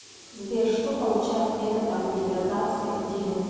сбер что получают методом гидратации этилена